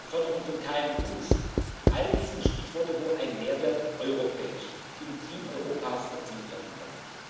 Förderung von KMU all dies sind Stichworte, wo ein Mehrwert europäisch, im Team Europas erzielt werden kann.